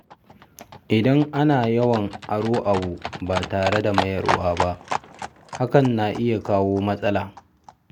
Idan ana yawan aro abu ba tare da mayarwa ba, hakan na iya kawo matsala.